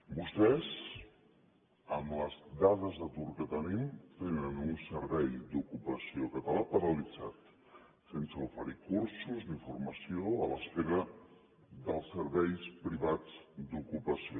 vostès amb les dades d’atur que tenim tenen un servei d’ocupació català paralitzat sense oferir cursos ni formació a l’espera dels serveis privats d’ocupació